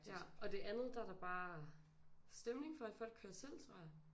Ja og det andet der er der bare stemning for at folk kører selv tror jeg